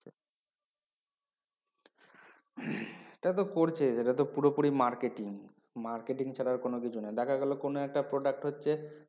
সেটা তো করছে এটা ত পুরো পুরি Marketing Marketing ছাড়া কোন কিছু নাই দেখা গেলো কোনো একটা Product হচ্ছে